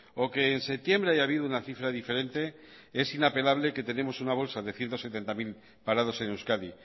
o que en septiembre haya habido una cifra diferente es inapelable que tenemos una bolsa de ciento setenta mil parados en euskadi